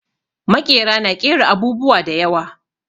Maƙera na ƙera abubuwa da yawa.